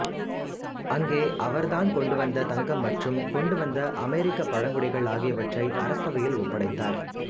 அங்கே அவர் தான் கொண்டு வந்த தங்கம் மற்றும் கொண்டு வந்த அமெரிக்கப்பழங்குடிகள் ஆகியவற்றை அரசவையில் ஒப்படைத்தார்